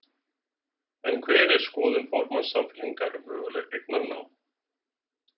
En hver er skoðun formanns Samfylkingar á mögulegu eignarnámi?